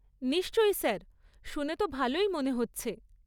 নিশ্চয়ই স্যার। শুনে তো ভালোই মনে হচ্ছে।